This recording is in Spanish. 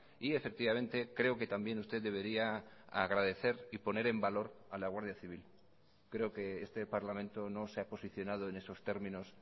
y efectivamente creo que también usted debería agradecer y poner en valor a la guardia civil creo que este parlamento no se ha posicionado en esos términos